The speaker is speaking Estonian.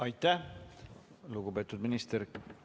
Aitäh, lugupeetud minister!